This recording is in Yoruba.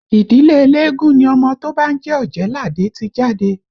Ìdílé eléégún ni ọmọ tó bá ń jẹ́ Ọ̀jẹ̀ẹ́làdé ti jáde